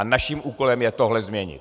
A naším úkolem je tohle změnit.